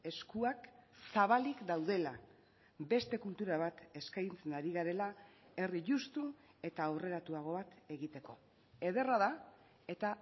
eskuak zabalik daudela beste kultura bat eskaintzen ari garela herri justu eta aurreratuago bat egiteko ederra da eta